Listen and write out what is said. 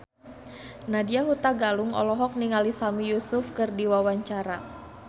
Nadya Hutagalung olohok ningali Sami Yusuf keur diwawancara